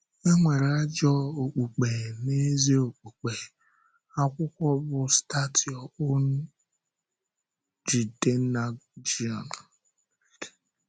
E nwere ajọ okpùkpe na ezi okpùkpe.” — Akwụkwọ bụ́ Start Your Own RJidennagion.